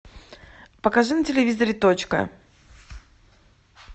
покажи на телевизоре точка